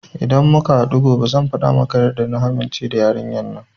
Idan muka haɗu gobe zan faɗa maka yadda na amince da yarinyar.